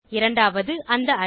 இரண்டாவது அந்த அரே